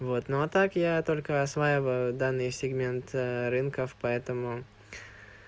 вот ну а так я только осваиваю данный сегмент рынков поэтому